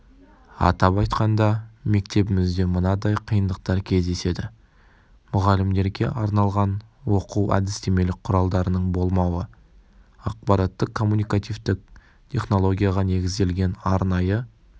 атап айтқанда мектебімізде мынадай қиындықтар кездеседі мұғалімдерге арналған оқу-әдістемелік құралдарының болмауы ақпараттық коммуникативтік технологияға негізделген арнайы